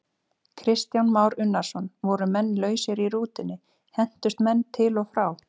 Kristján Már Unnarsson: Voru menn lausir í rútunni, hentust menn til og frá?